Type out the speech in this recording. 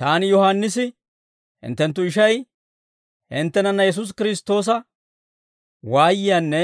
Taani Yohaannisi, hinttenttu ishay, hinttenana Yesuusi Kiristtoosa waayiyaanne